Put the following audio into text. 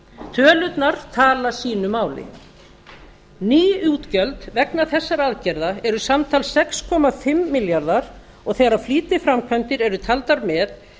tölurnar tala sínu máli ný útgjöld vegna þessara aðgerða eru samtals sex komma fimm milljarðar og þegar flýtiframkvæmdir eru taldar með